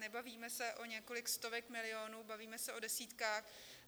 Nebavíme se o několika stovkách milionů, bavíme se o desítkách.